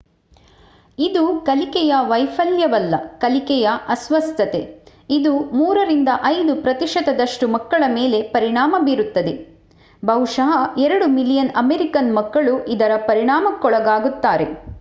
ಇದು ಕಲಿಕೆಯ ವೈಫಲ್ಯವಲ್ಲ ಕಲಿಕೆಯ ಅಸ್ವಸ್ಥತೆ ಇದು 3 ರಿಂದ 5 ಪ್ರತಿಶತದಷ್ಟು ಮಕ್ಕಳ ಮೇಲೆ ಪರಿಣಾಮ ಬೀರುತ್ತದೆ ಬಹುಶಃ 2 ಮಿಲಿಯನ್ ಅಮೆರಿಕನ್ ಮಕ್ಕಳು ಇದರ ಪರಿಣಾಮಕ್ಕೊಳಗಾಗುತ್ತಾರೆ